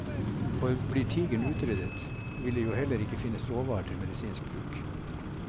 For blir tigeren utryddet, vil det jo heller ikke finnes råvarer til medisinsk bruk.